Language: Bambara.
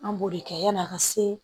An b'o de kɛ yani a ka se